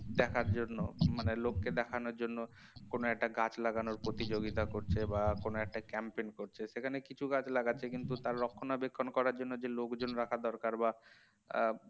দেখার জন্য মানে লোককে দেখানোর জন্য কোন একটা গাছ লাগানোর প্রতিযোগিতা করছে বা কোন একটা campaign করছে সেখানে কিছু গাছ লাগাচ্ছে কিন্তু তার রক্ষণাবেক্ষণ করার জন্য যে লোকজন রাখা দরকার বা আহ